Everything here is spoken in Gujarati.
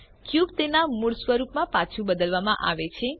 ક્યુબ તેના મૂળ સ્વરૂપમાં પાછું બદલવામાં આવે છે